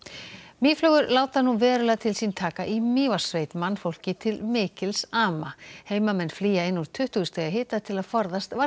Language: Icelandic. mýflugur láta nú verulega til sín taka í Mývatnssveit mannfólki til mikils ama heimamenn flýja inn úr tuttugu stiga hita til að forðast